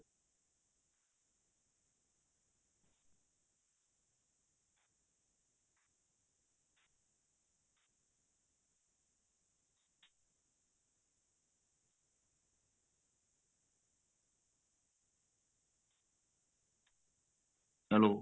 hello